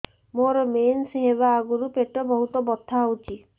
ମୋର ମେନ୍ସେସ ହବା ଆଗରୁ ପେଟ ବହୁତ ବଥା ହଉଚି